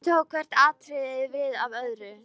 Síðan tók hvert atriðið við af öðru.